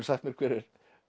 sagt mér hver er